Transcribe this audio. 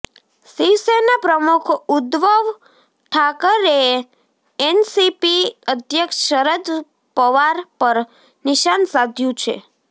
શિવસેના પ્રમુખ ઉદ્ધવ ઠાકરેએ એનસીપી અધ્યક્ષ શરદ પવાર પર નિશાન સાધ્યું છે